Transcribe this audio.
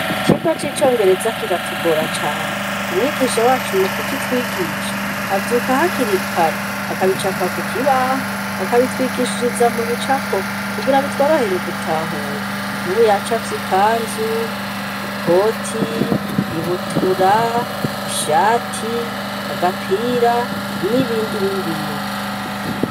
Icirwa c'icongereza kiratugora cane umwigisha wacu mu kuki twigisha avyuka ha kirikare akabicapa ku kibaho akabitwigishiriza mu bicapo kugira bitwarohere gutahura nubu yacafye ikanzu ikoti ibutura ishati agapira n'ibindi n'ibindi.